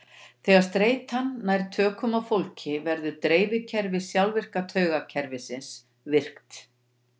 Þegar streita nær tökum á fólki verður drifkerfi sjálfvirka taugakerfisins virkt.